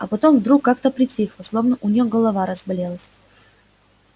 а потом вдруг как-то притихла словно у неё голова разболелась